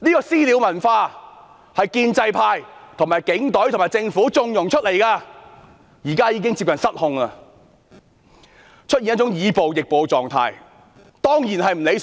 "私了"文化是在建制派、警隊和政府縱容下衍生的，現在已接近失控，更出現以暴易暴的情況，這樣當然不理想。